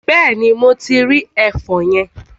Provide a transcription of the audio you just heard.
Bẹ́ẹ̀ni, mo ti rí ẹfọn yẹn.